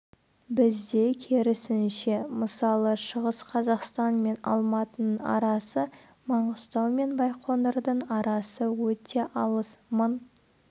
бізде керісінше мысалы шығыс қазақстан мен алматының арасы маңғыстау мен байқоңырдың арасы өте алыс мың